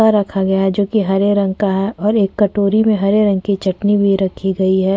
रखा गया है जोकि हरे रंग का है और एक कटोरी में हरे रंग की चटनी भी रखी गई है।